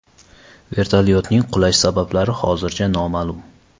Vertolyotning qulash sabablari hozircha noma’lum.